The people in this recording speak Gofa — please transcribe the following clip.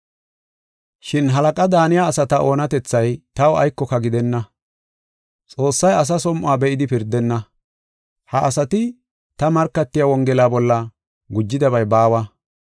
Shin halaqa daaniya asata oonatethay taw aykoka gidenna. Xoossay asa som7o be7idi pirdenna. Ha asati ta markatiya Wongela bolla gujidabay baawa.